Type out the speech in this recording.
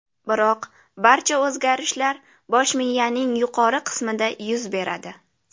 Biroq barcha o‘zgarishlar bosh miyaning yuqori qismida yuz beradi.